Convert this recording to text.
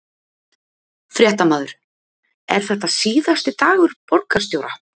Fréttamaður: Er þetta síðasti dagur borgarstjóra?